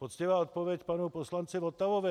Poctivá odpověď panu poslanci Votavovi.